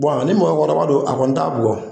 ni mɔgɔkɔrɔba don a kɔni t'a bugɔ.